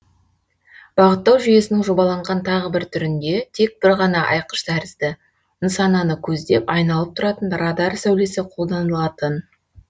бағыттау жүйесінің жобаланған тағы бір түрінде тек бір ғана айқыш тәрізді нысананы көздеп айналып тұратын радар сәулесі қолданылатын